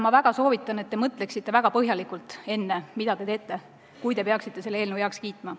Ma väga soovitan, et te mõtleksite väga põhjalikult, mida te teete, enne kui te peaksite selle eelnõu heaks kiitma.